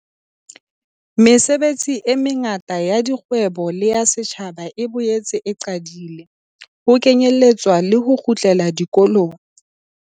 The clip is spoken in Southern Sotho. Mesebetsi e mengata ya kgwebo le ya setjhaba e boetse e qadile, ho kenyeletswa le ho kgutlela dikolong.